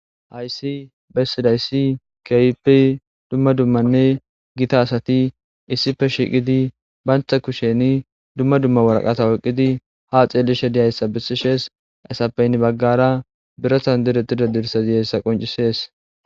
Ha misileza ta beyada ezigana danda'day aaze gizaysa gidikon aho dembazan zeretidd dicishe diza kathatako. Ha kathatika badalatanne badhota getetes. Ha badalatanne badhot yafaran toketin iza gidon issi adey dizays adhi eqid Des.